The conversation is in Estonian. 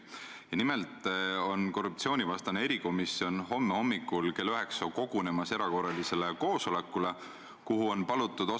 Aga on ka teatud füüsilised ühendused, mis kindlasti on seotud näiteks majandusvaldkonnaga ja on seotud keskkonnavaldkonnaga.